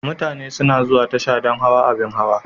Mutane suna zuwa tasha don hawa abin hawa..